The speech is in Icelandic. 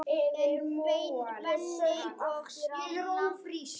En Benni og Stína?